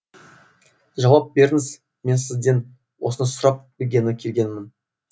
жауап беріңіз мен сізден осыны сұрап білгелі келгенмін